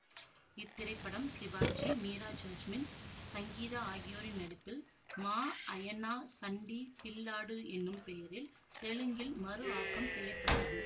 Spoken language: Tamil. இத்திரைப்படம் சிவாஜி மீரா ஜாஸ்மின் சங்கீதா ஆகியோரின் நடிப்பில் மா அயநா சண்டி பில்லாடு எனும் பெயரில் தெலுங்கில் மறுஆக்கம் செய்ய பட்டது